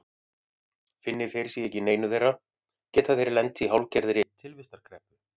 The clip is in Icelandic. Finni þeir sig ekki í neinu þeirra geta þeir lent í hálfgerðri tilvistarkreppu.